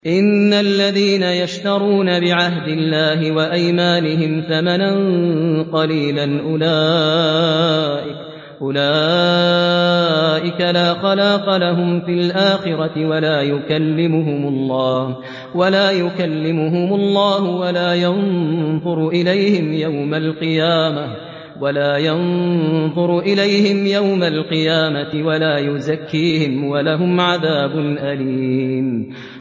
إِنَّ الَّذِينَ يَشْتَرُونَ بِعَهْدِ اللَّهِ وَأَيْمَانِهِمْ ثَمَنًا قَلِيلًا أُولَٰئِكَ لَا خَلَاقَ لَهُمْ فِي الْآخِرَةِ وَلَا يُكَلِّمُهُمُ اللَّهُ وَلَا يَنظُرُ إِلَيْهِمْ يَوْمَ الْقِيَامَةِ وَلَا يُزَكِّيهِمْ وَلَهُمْ عَذَابٌ أَلِيمٌ